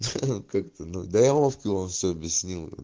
ха-ха да я вовке все объяснил